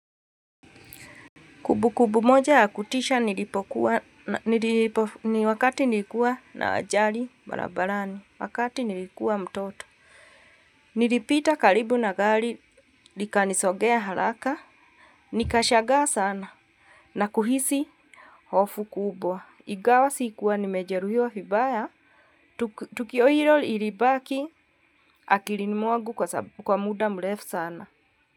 Kumbukumbu moja ya kutisha nilipokuwa, ni wakati nilikuwa na ajali barabarani, wakati nilikuwa mtoto. Nilipita karibu na gari, nikalisongea haraka, nikashangaa sana, na kuhisi hofu kubwa. Ingawa sikuwa nimejeruhiwa vibaya, tukio hilo ilibaki akilini mwangu kwa muda mrefu sana.